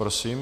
Prosím.